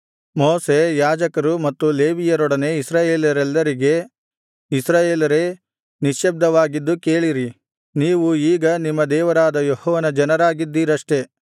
ಮೋಶೆ ಯಾಜಕರು ಮತ್ತು ಲೇವಿಯರೊಡನೆ ಇಸ್ರಾಯೇಲರೆಲ್ಲರಿಗೆ ಇಸ್ರಾಯೇಲರೇ ನಿಶ್ಯಬ್ದವಾಗಿದ್ದು ಕೇಳಿರಿ ನೀವು ಈಗ ನಿಮ್ಮ ದೇವರಾದ ಯೆಹೋವನ ಜನರಾಗಿದ್ದೀರಷ್ಟೆ